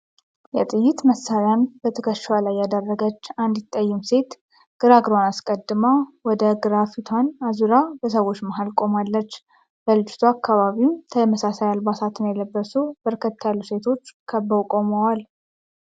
የጥይት መሳሪያን በትከሻዋ ላይ ያደረገች አንዲት ጠይም ሴት ግራ እግሯን አስቀድማ ወደ ግራ ፊቷን አዙራ በሰወች መሃል ቆማለች። በልጅቷ አካባቢም ተመሳሳይ አልባሳትን የለበሱ በርከት ያሉ ሴቶች ከበው ቆመዋል።